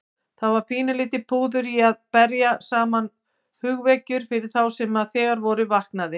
Það var lítið púður í að berja saman hugvekjur fyrir þá sem þegar voru vaknaðir.